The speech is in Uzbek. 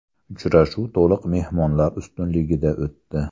Uchrashuv to‘liq mehmonlar ustunligida o‘tdi.